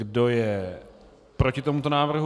Kdo je proti tomuto návrhu?